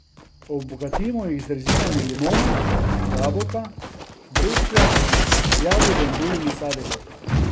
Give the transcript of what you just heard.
Obogatimo jih z rezinami limone, jabolka, breskve, jagode in drugimi sadeži.